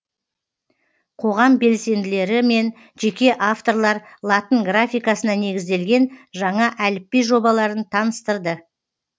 қоғам белсенділері мен жеке авторлар латын графикасына негізделген жаңа әліпби жобаларын таныстырды